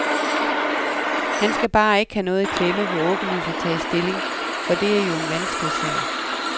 Han skal bare ikke have noget i klemme ved åbenlyst at tage stilling, for det er jo en vanskelig sag.